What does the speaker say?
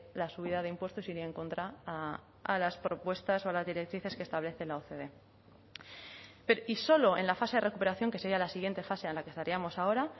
la subida de impuestos iría en contra a las propuestas o a las directrices que establece la ocde y solo en la fase de recuperación que sería la siguiente fase a la estaríamos ahora